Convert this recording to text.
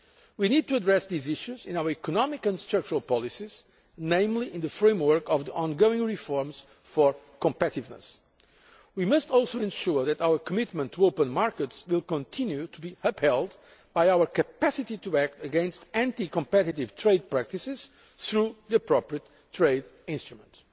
We need to address these issues in our economic and structural policies, particularly in the framework of the ongoing reforms for competitiveness. We must also ensure that our commitment to open markets will continue to be underpinned by our capacity to act against anti competitive trade practices via the appropriate trade instruments.